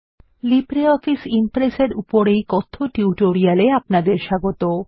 LibreOffice Impress এর উপর এই কথ্য টিউটোরিয়াল এ আপনাদের স্বাগত